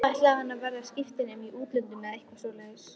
Ætlaði hann að verða skiptinemi í útlöndum eða eitthvað svoleiðis?